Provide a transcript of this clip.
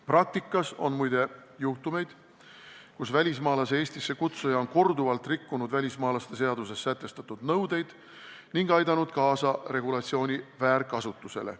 Praktikas on, muide, juhtumeid, kus välismaalase Eestisse kutsuja on korduvalt rikkunud välismaalaste seaduses sätestatud nõudeid ning aidanud kaasa regulatsiooni väärkasutusele.